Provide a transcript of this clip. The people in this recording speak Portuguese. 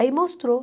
Aí mostrou.